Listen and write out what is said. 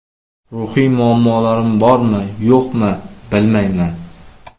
Ruhiy muammolarim bormi, yo‘qmi, bilmayman.